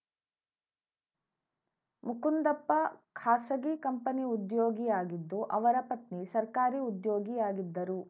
ಮುಕುಂದಪ್ಪ ಖಾಸಗಿ ಕಂಪನಿ ಉದ್ಯೋಗಿಯಾಗಿದ್ದು ಅವರ ಪತ್ನಿ ಸರ್ಕಾರಿ ಉದ್ಯೋಗಿಯಾಗಿದ್ದರು